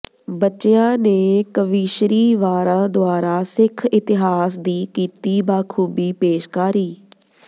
ਬੱਚਿਆਂ ਨੇ ਕਵੀਸ਼ਰੀ ਵਾਰਾਂ ਦੁਆਰਾ ਸਿੱਖ ਇਤਿਹਾਸ ਦੀ ਕੀਤੀ ਬਾਖੂਬੀ ਪੇਸ਼ਕਾਰੀ